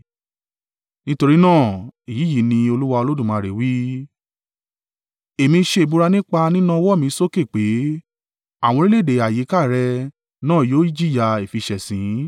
Nítorí náà, èyí yìí ni Olúwa Olódùmarè wí: Èmi ṣe ìbúra nípa nína ọwọ́ mi sókè pé; àwọn orílẹ̀-èdè àyíká rẹ náà yóò jìyà ìfiṣẹ̀sín.